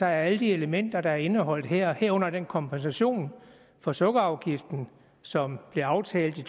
alle de elementer sammen der er indeholdt her herunder den kompensation for sukkerafgiften som blev aftalt i